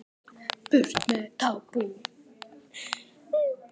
Burt með tabú